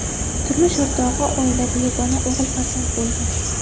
Turmush o‘rtog‘i oilada yagona o‘g‘il farzand bo‘lgan.